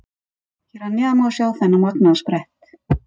Hér að neðan má sjá þennan magnaða sprett.